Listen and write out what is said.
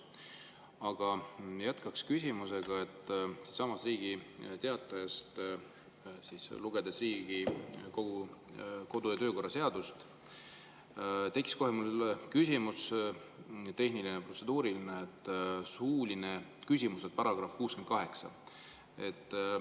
Aga jätkaks küsimusega, et lugedes siinsamas Riigi Teatajast Riigikogu kodu‑ ja töökorra seadust, tekkis mul protseduuriline küsimus suulise küsimuse kohta, § 68.